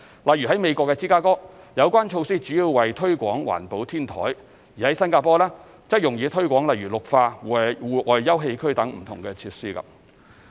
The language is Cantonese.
例如在美國芝加哥，有關措施主要為推廣環保天台，而在新加坡，則用以推廣例如綠化、戶外休憩區等的不同設施。